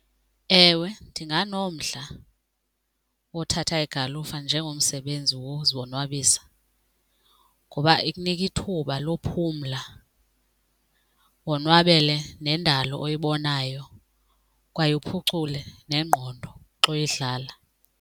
Ewe, ndinganomdla wothatha igalufa njengomsebenzi wozonwabisa ngoba ikunika ithuba lophumla wonwabele nendalo oyibonayo kwaye uphucule nengqondo xa uyidlala.